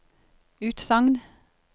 utsagn